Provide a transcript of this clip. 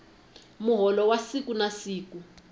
muholo wa siku na siku